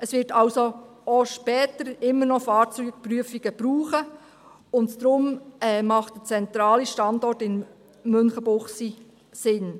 Es wird also auch später immer noch Fahrzeugprüfungen brauchen, und daher macht der zentrale Standort in Münchenbuchsee Sinn.